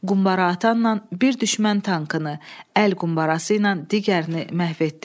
Qumbaraatanla bir düşmən tankını, əl qumbarası ilə digərini məhv etdi.